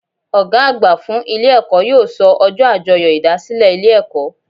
Ògá àgbà fún Ilé èkó yóò so ojó àjoyò ìdásílè Ilé èkó